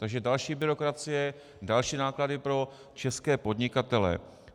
Takže další byrokracie, další náklady pro české podnikatele.